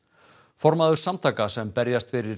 formaður samtaka sem berjast fyrir